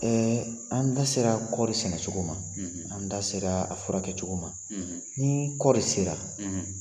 Ɛɛ an da sera kɔɔri sɛnɛcogo ma, an da sera a furakɛcogo ma, ni kɔɔri sera